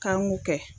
K'an k'o kɛ